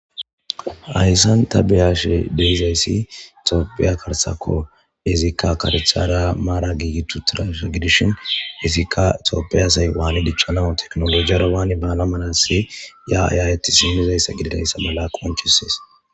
hayssan ta beyashe deyizayssi tooppiya karsakko izikka karecthara maara giigitu tirasha gidishin izikka toopiy asay waane dichchanawu teknolojiyara waani baala manasi ya ayaayetis yunizayssa gididayssa mala qonchusees